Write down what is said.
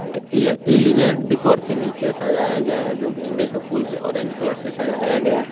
Decor के नीचे सजाया गया है जो गेंदे का फूल से ऑरेंज कलर से सजाया गया है।